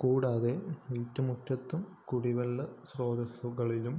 കൂടാതെ വീട്ടുമുറ്റത്തും കുടിവെളള സ്രോതസുകളിലും